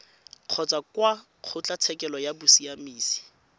kgotsa kwa kgotlatshekelo ya bosiamisi